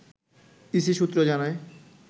EC সূত্র জানায়